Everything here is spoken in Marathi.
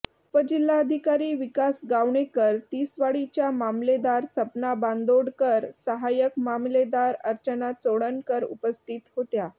उपजिल्हाधिकारी विकास गावणेकर तिसवाडीच्या मामलेदार सपना बांदोडकर साहाय्यक मामलेदार अर्चना चोडणकर उपस्थित होत्या